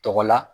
Tɔgɔ la